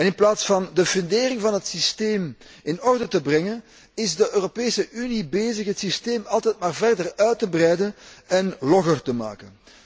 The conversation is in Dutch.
In plaats van de fundering van het systeem in orde te brengen, is de Europese Unie bezig het systeem altijd maar verder uit te breiden en logger te maken.